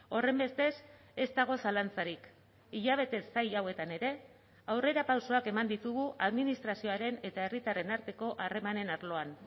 horrenbestez ez dago zalantzarik hilabete zail hauetan ere aurrerapausoak eman ditugu administrazioaren eta herritarren arteko harremanen arloan